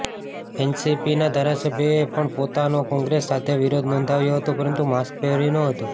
એનસીપીના ધારાસભ્યએ પણ પોતનો કોંગ્રેસ સાથે વિરોધ નોંધાવ્યો હતો પરંતુ માસ્ક પહેર્યું ન્હોતું